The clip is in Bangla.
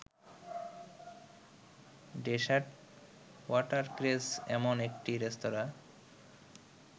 ডেসার্ট ওয়াটারক্রেস এমন একটি রেস্তোরাঁ